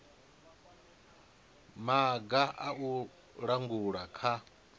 maga a u langula kha